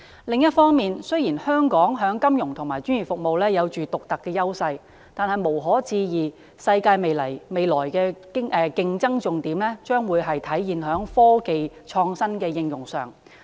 另一方面，雖然香港在金融和專業服務有獨特優勢，但無可置疑的是，世界未來的競爭重點將體現在科技的創新和應用上。